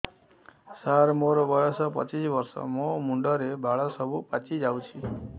ସାର ମୋର ବୟସ ପଚିଶି ବର୍ଷ ମୋ ମୁଣ୍ଡରେ ବାଳ ସବୁ ପାଚି ଯାଉଛି